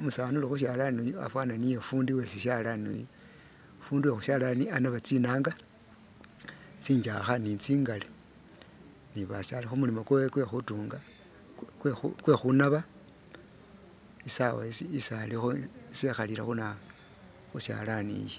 umusaani uli khu shalaani fana niye fundi we sishalani uyu fundi wekhushalani anaba tsinaanga tsintsakha ni tsingale ni basa Ali khumulimo kwewe kwe khutunga kwekhunaba isaawa isi alikho isi ekhalile khunawoyu khushalani iyi